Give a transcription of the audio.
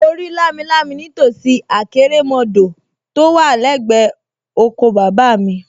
Mo rí lámilámi nítòsí àkérémọdọ̀ tó wà lẹ́gbẹ̀ẹ́ oko bàbá mi